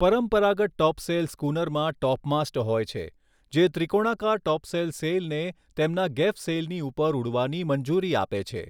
પરંપરાગત ટોપસેલ સ્કૂનરમાં ટોપમાસ્ટ હોય છે, જે ત્રિકોણાકાર ટોપસેલ સેઇલને તેમના ગેફ સેઇલની ઉપર ઉડવાની મંજૂરી આપે છે.